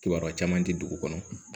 Kibaruya caman tɛ dugu kɔnɔ